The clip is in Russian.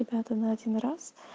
ребята на один раз